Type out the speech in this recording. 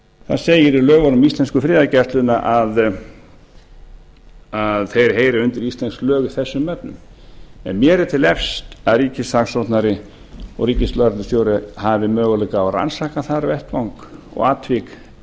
það segir í lögunum um íslensku friðargæsluna að þeir heyri undir íslensk lög í þessum efnum en mér er til efs að ríkissaksóknari og ríkislögreglustjóri hafi möguleika á að rannsaka þann vettvang og atvik